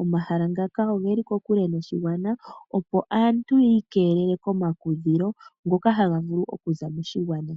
Omahala ngaka ogeli kokule noshigwana opo aantu yiikelele komakudhilo ngoka haga vulu okuza moshigwana.